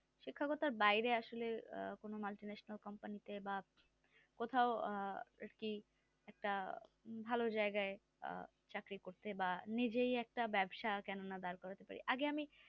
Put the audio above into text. শিক্ষকতার বাইরে আসলে আহ কোনো Multinational Company তে বা কোথাও আহ আর কি আহ একটা ভালো জায়গায় আহ চাকরি করতে বা নিজেই একটা ব্যবসা কেন না দাঁড় করতে পারি আগে আমি